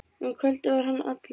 Um kvöldið var hann allur.